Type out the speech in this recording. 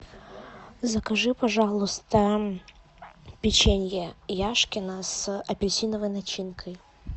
закажи пожалуйста печенье яшкино с апельсиновой начинкой